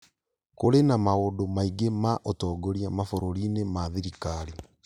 Kũrĩ na maũndũ maingĩ ma ũtongoria mabũrũri-inĩ ma thirikari